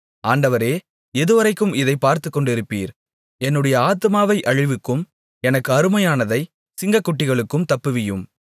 ஆண்டவரே எதுவரைக்கும் இதைப் பார்த்துக்கொண்டிருப்பீர் என்னுடைய ஆத்துமாவை அழிவுக்கும் எனக்கு அருமையானதைச் சிங்கக்குட்டிகளுக்கும் தப்புவியும்